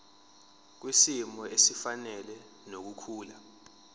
kwisimo esifanele nokukhula